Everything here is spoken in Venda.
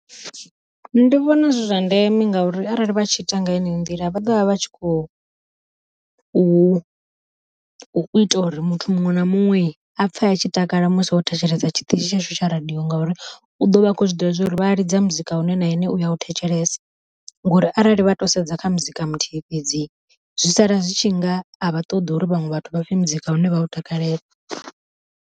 Ndi vhona zwi zwa ndeme ngauri arali vha tshi ita nga heneyo nḓila vha ḓovha vha tshi kho u ita uri muthu muṅwe na muṅwe a pfhe a tshi takala musi o thetshelesa tshiṱitshi tshashu tsha radiyo, ngauri u ḓo vha a khou zwi ḓivha zwa uri vha ḽidza muzika une na ene uya u thetshelesa. Ngori arali vha to sedza kha muzika muthihi fhedzi zwi sala zwi tshi nga a vha ṱoḓa uri vhaṅwe vhathu vha pfhe muzika une vha u takalela.